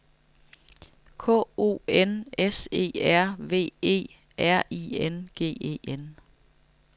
K O N S E R V E R I N G E N